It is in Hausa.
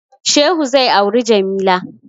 Shehu zai auri Jamila.